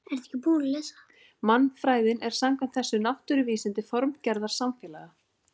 Mannfræðin er samkvæmt þessu náttúruvísindi formgerðar samfélaga.